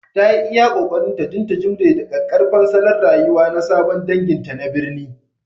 Ta yi iya ƙoƙarinta don ta jimre da ƙaƙƙarfan salon rayuwa na sabon danginta na birni